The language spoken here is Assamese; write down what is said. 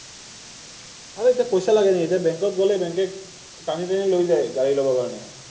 আৰে এতিয়া পইচা লাগে নেকি, এতিয়া বেংকত গ’লেই বেংকে টানি টানি লৈ যায় গাড়ী ল’বৰ কাৰণে।